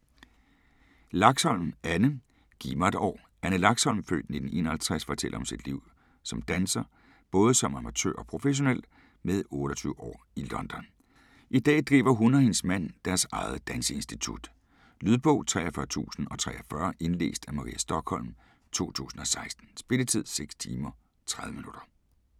Laxholm, Anne: Giv mig et år Anne Laxholm (f. 1951) fortæller om sit liv som danser, både som amatør og professionel, med 28 år i London. I dag driver hun og hendes mand deres eget danseinstitut. Lydbog 43043 Indlæst af Maria Stokholm, 2016. Spilletid: 6 timer, 30 minutter.